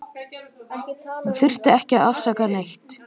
Hún þurfti ekki að afsaka neitt.